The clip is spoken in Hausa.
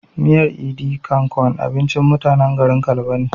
Miyar "idi kan kon" abincin mutanen garin kalba ne